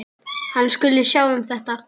Hann skuli sjá um þetta.